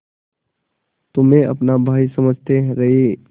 तुम्हें अपना भाई समझते रहे